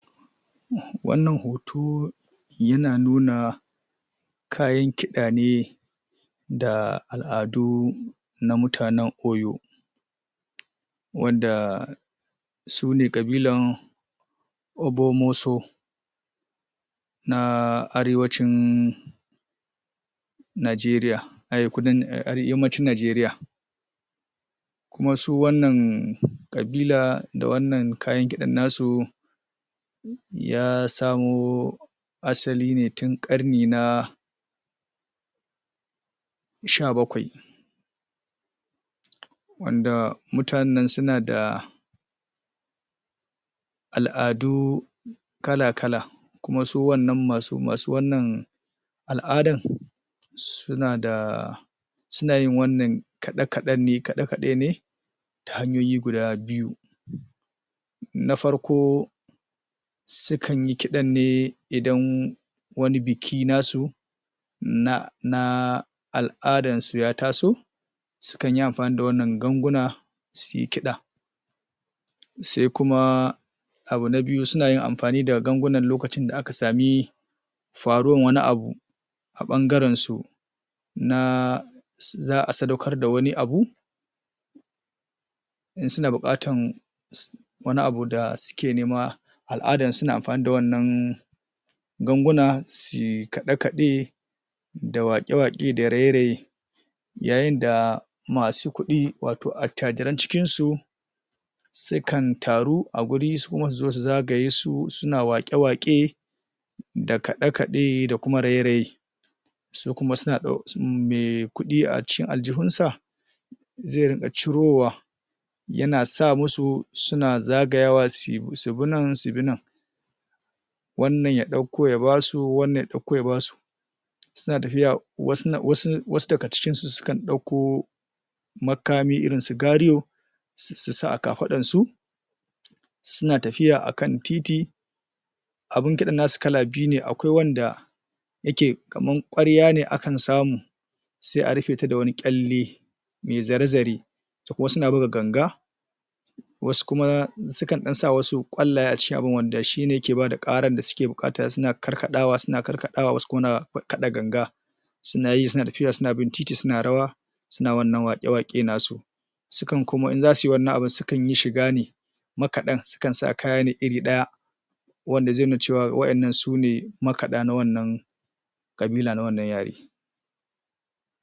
wannan hoto yana nuna kayan kiɗa ne da al'adu na mutanen Oyo wanda su ne ƙabilan Obomoso na arewacin Najeriya arew kudan ahh yammacin Najeriya kuma su wannan ƙabila da wannan kayan kiɗannasu ya samo asali ne tun ƙarni na sha bakwai wanda mutanennan suna da al'adu kala-kala kuma su wannan masu masu wannan al'adan suna da suna yin wannan kaɗe-kaɗenne kaɗe-kaɗe ne ta hanyoyi guda biyu. Na farko su kanyi kiɗanne idan wani biki na su na naa al'adan su ya taso su kanyi amfani da wannan gangunan su ke kiɗa. Sai kuma abu na biyu suna yin amfani da gangunan lokacin da aka sami faruwan wani abu a ɓangaren su na ss za'a sadaukar da wani abu in suna buƙatan? wani abu da suke nema al'adan su na amfani da wannan ganguna suy kaɗe-kaɗe da waƙe-waƙe da raye-raye. yayin da Masu kuɗi wato attajiran cikinsu su kan taru a guri su kuma su zagaye su suna waƙe-waƙe da kaɗe-kaɗe da kuma raye-raye su kuma suna me kuɗi a cikin aljihunsa ze riƙa cirowa yana sa musu suna zagayawa su subi nan, subi nan wannan ya ɗauko ya basu, wannan ya ɗauko ya basu wasu daga cikin su su kan ɗauko makami irinsu gariyo ss su sa a kafaɗan su su na tafiya a kan titi abin kiɗannasu kala biyu ne, akwai wanda yake kaman ƙwarya ne a kan samu sai a rufe ta da wani kyalle me zare-zare wasu na buga ganga, wasu kuma su kan ɗan sa wasu ƙwallaye a cikin abun wanda shine ke bada ƙaran da suke buƙata suna karkaɗawa, suna karkaɗawa wasu kuma na kaɗa ganga suna yi suna tafiya suna bin titi, suna rawa. suna wannan waƙe-waƙe nasu su kan kuma in zasuyi wannan abin su kan yi shiga ne makaɗan su kan sa kaya ne iri ɗaya wanda ze nuna cewa wa'yannan su ne makaɗa na wannan ƙabila na wannan yare